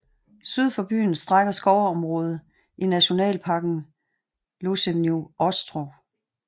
Syd for byen strækker skovområdet i nationalparken Losinyj Ostrov